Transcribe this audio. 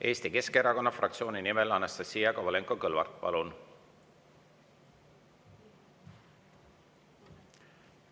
Eesti Keskerakonna fraktsiooni nimel Anastassia Kovalenko-Kõlvart, palun!